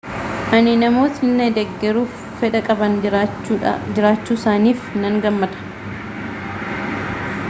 ani namootni na deggeruuf fedha qaban jiraachuusaaniif nan gammada